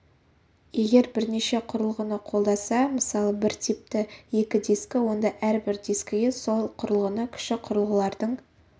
егер бірнеше құрылғыны қолдаса мысалы бір типті екі дискі онда әрбір дискіге сол құрылғыны кіші құрылғылардың